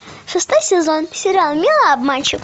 шестой сезон сериал милый обманщик